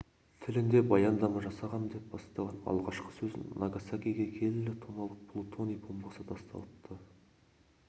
тілінде баяндама жасағам деп бастаған алғашқы сөзін нагасакиге келі тонналық плутоний бомбасы тасталыпты